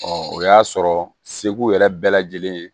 o y'a sɔrɔ segu yɛrɛ bɛɛ lajɛlen ye